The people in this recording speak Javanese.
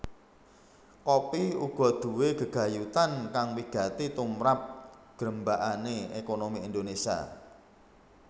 Kopi uga duwé gegayutan kang wigati tumrap grembakané ékonomi Indonésia